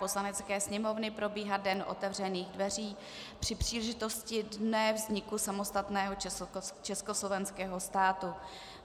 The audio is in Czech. Poslanecké sněmovny probíhat den otevřených dveří při příležitosti Dne vzniku samostatného československého státu.